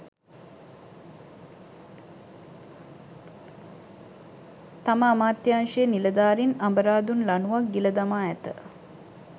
තම අමාත්‍යාංශයේ නිළධාරින් අඹරාදුන් ලනුවක් ගිලදමා ඇත